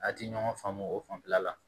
A ti ɲɔgɔn faamu o fanfɛla la